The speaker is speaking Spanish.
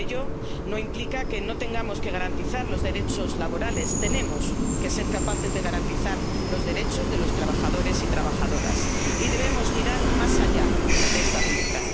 teniendo. Pero ello no implica que no tengamos que garantizar los derechos laborales tenemos que ser capaces de garantizar los derechos de los trabajadores y las trabajadoras. Y debemos mirar más allá de esta